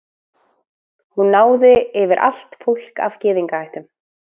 hún náði yfir allt fólk af gyðingaættum